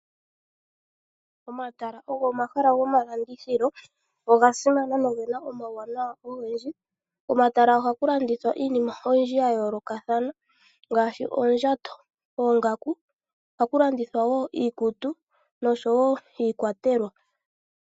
Omatala ogo omahala gomalandithilo oga simana nogena omawuwanawa ogendji. Komatala ohaku landithwa iinima oyindji ya yoolokathana ngaashi oondjato oongaku. Ohaku landithwa wo iikutu noshowo iikwatelwa.